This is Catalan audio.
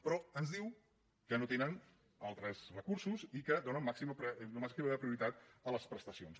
però ens diu que no tenen altres recursos i que donen màxima prioritat a les prestacions